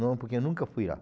Não, porque nunca fui lá.